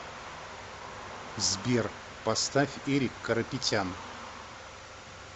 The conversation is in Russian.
сбер поставь эрик карапетян